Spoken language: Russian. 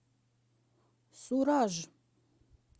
сураж